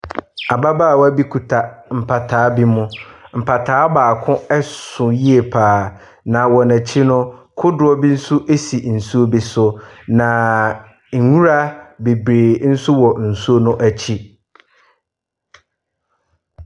Ababaawa bi kita mpataa bi mu. Mpataa baako so yie pa ara. Na wɔn akyi no, kodoɔ bi si nsuo bi so. Na nwura bebree nso wɔ nsu no akyi.